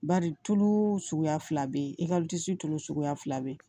Bari tulu suguya fila bɛ yen i kalo sunlu suguya fila bɛ yen